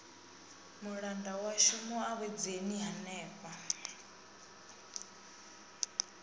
mulanda washu mu awedzeni henefha